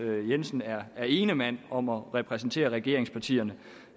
jensen er er ene mand om at repræsentere regeringspartierne